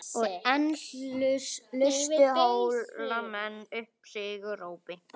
Og enn lustu Hólamenn upp sigurópi.